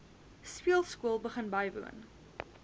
speelskool begin bywoon